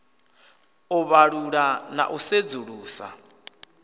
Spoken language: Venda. u vhalula na u sedzulusa